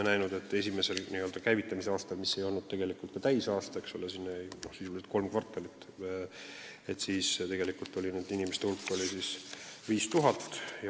Esimesse, n-ö käivitamise aastasse jäi sisuliselt kolm kvartalit ja tegelikult oli abisaajate hulk umbes 5000.